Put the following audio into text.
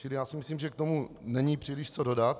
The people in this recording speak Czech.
Čili já si myslím, že k tomu není příliš co dodat.